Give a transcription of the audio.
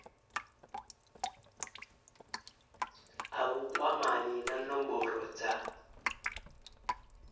a vhukwamani na nomboro dza